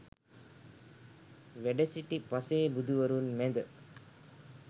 වැඩසිටි පසේ බුදුවරුන් මැද